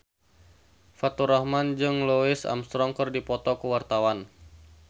Faturrahman jeung Louis Armstrong keur dipoto ku wartawan